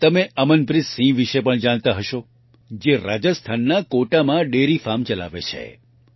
તમે અમનપ્રીત સિંહ વિશે પણ જાણતા હશો જે રાજસ્થાનના કોટામાં ડેરી ફાર્મ ચલાવે છે